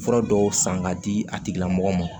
Fura dɔw san k'a di a tigilamɔgɔ ma